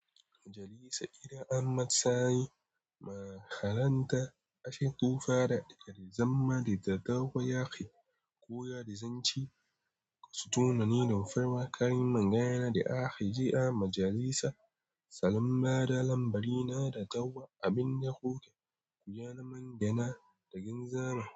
Majalisa, idan Ahmad Sani ma haranta ashe tufa da ƙarizamma da ta taho yaki. Koya rizanci, ka sutona ni don farawa ƙarin magana da ake ji a majalisa. Salam ba da lambari na da tawwa abin da kuke koya na magana da ginza ma.